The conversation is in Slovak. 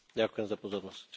Ďakujem za pozornosť.